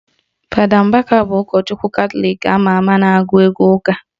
Fada Mbaka bụ ụkọchukwu Katọlik ama ama na-agụ egwu ụka